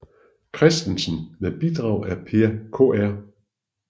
Christensen med bidrag af Per Kr